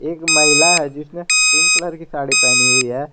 एक महिला है जिसने पिंक कलर की साड़ी पहनी हुई है।